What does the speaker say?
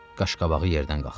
Qaşqabağı yerdən qalxdı.